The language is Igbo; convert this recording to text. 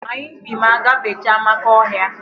Anyị bi ma agbafecha Amakọhịa.